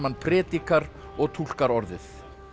prédikar og túlkar orðið